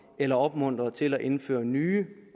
eller opmuntrer til at indføre nye